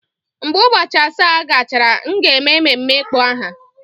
Mgbe ụbọchị asaa gachara, m ga-eme ememme ịkpọ aha.